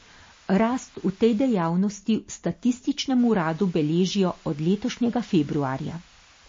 Rast v tej dejavnosti v statističnem uradu beležijo od letošnjega februarja.